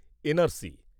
NRC